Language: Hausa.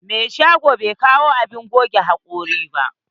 Mai shagon bai kawo abun goge hakori ba.